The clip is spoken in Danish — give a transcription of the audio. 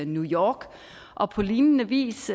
new york og på lignende vis